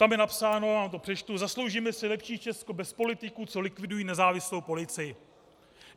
Tam je napsáno - já vám to přečtu: "Zasloužíme si lepší Česko bez politiků, co likvidují nezávislou policii."